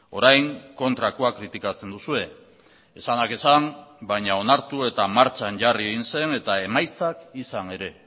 orain kontrakoa kritikatzen duzue esanak esan baina onartu eta martxan jarri egin zen eta emaitzak izan ere